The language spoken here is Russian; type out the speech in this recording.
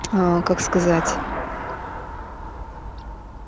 аа как сказать